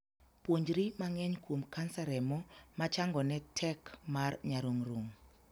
Puonjri mang'eny kuom kansa remo machangone tek mar nyarung'rung'.